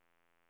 nitton